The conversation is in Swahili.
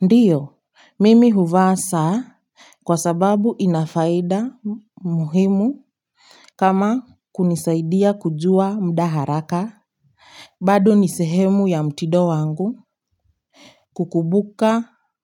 Ndiyo mimi huvaa saa kwa sababu inafaida muhimu kama kunisaidia kujua muda haraka. Bado nisehemu ya mtindo wangu